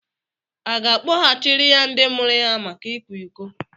A ga-akpọghachiri ya ndị mụrụ ya maka ikwa iko?